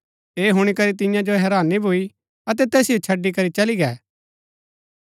ऐह हुणी करी तियां जो हैरानी भूई अतै तैसिओ छड़ी करी चली गै